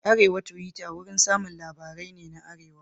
Arewa Tuwita wurin samun labarai ne na arewa.